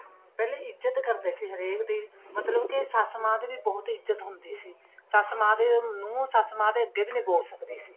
ਪਹਿਲੇ ਇੱਜਤ ਕਰਦੇ ਸੀ ਹਰੇਕ ਦੀ ਮਤਲਬ ਕੇ ਸ਼ੱਸ਼ ਮਾਂ ਦੀ ਵੀ ਬਹੁਤ ਇੱਜਤ ਹੁੰਦੀ ਸੀ ਸ਼ੱਸ਼ ਮਾਂ ਦੇ ਨੂੰਹ ਸ਼ੱਸ਼ ਮਾਂ ਦੇ ਅੱਗੇ ਵੀ ਨਹੀਂ ਬੋਲ ਸਕਦੀ ਸੀ